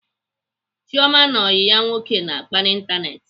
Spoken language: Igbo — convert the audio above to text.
Chioma na ọyị ya nwoke na-akpa n'Ịntanetị.